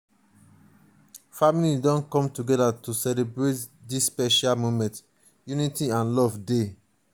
family don come together to celebrate dis special moment unity and love dey.